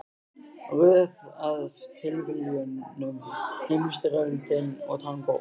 Röð af tilviljunum, Heimsstyrjöldin og tangó.